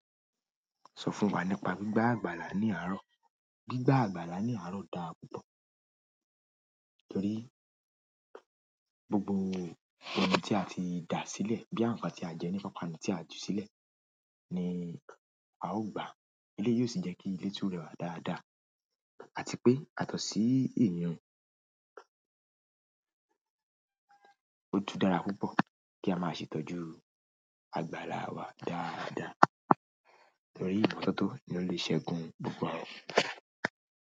Sọ fún wa nípa gbígbà àgbàlá ní àárọ̀. Gbígbà àgbàlá ní àárọ̀ dára púpọ̀ torí gbogbo ohun tí a ti da sílẹ̀ boya nkan tí a jẹ ní ipapanu tí a ju sílẹ̀ ni a ó gba. Eléyìí yóò sì jẹ́ kí ilé tún rẹwà dáadáa àti pé yatọ́ sí iyi un. Ó tùn dára púpọ̀ kí a máa ṣe ìtọ́jú àgbàlá wa dáadáa torí ìmọ́tótó ni ó lè ṣẹ́gun gbogbo àrùn.